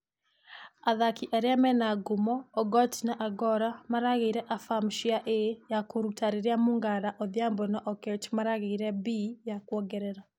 Athaki arĩa mĩna ngumo ogoti na agoro marageire afama cia A ya kũruta rĩrĩa mungala, odhiambo na oketch marageire B ya kuongerera .